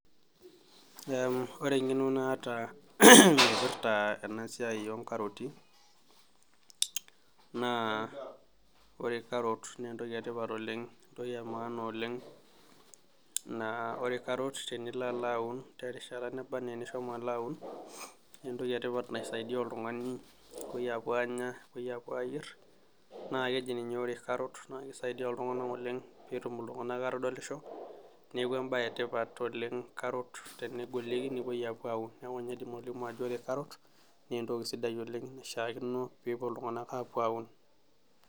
Ore engeno naata naipirta enasiai onkaroti na ore carrot na entoki etipat oleng entoki emaana oleng, ore karot tenilo aun terishata naba ana enishomo aun na Entoki naisaidia oltungani pepuoi apuo anya pepuo nye ayier na keji ninye karrot na kisaidia ltunganak oleng petum atodolisho neaku embae etipat oleng karot ore karot na entoki sidai oleng naishaakino pepuo ltunganak aun.